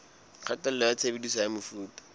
kgatello ya tshebediso ya mefuta